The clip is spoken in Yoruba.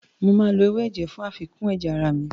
Mo máa lo ewé ẹ̀jẹ̀ fún àfikún ẹ̀jẹ̀ ara mi.